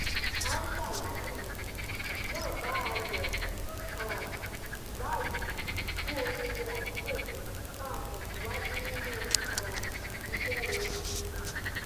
anta làníyàn náà bá a a yọ um báyìí kú oríire àbúrò mi máa tẹsíwájú nínú um iṣẹ rere